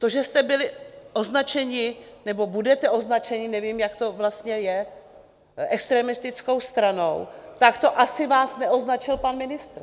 To, že jste byli označeni nebo budete označeni - nevím, jak to vlastně je - extremistickou stranou, tak to asi vás neoznačil pan ministr.